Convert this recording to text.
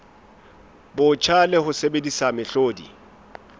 botjha le ho sebedisa mehlodi